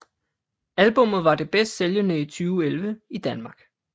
Albummet var det bedst sælgende i 2011 i Danmark